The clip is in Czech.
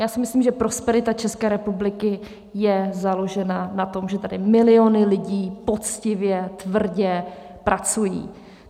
Já si myslím, že prosperita České republiky je založena na tom, že tady miliony lidí poctivě, tvrdě pracují.